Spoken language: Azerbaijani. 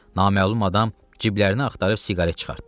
Naməlum adam ciblərinə axtarıb siqaret çıxartdı.